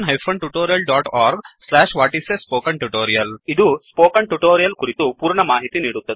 1 ಇದು spoken tutorial ಕುರಿತು ಪೂರ್ಣ ಮಾಹಿತಿ ನೀಡುತ್ತದೆ